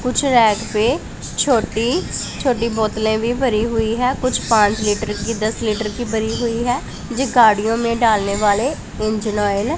कुछ रैक पे छोटी छोटी बोतले भी भरी हुई है कुछ पाँच लीटर की दस लीटर की भरी हुई है जे गाड़ियों में डालने वाले इंजन ऑयल है।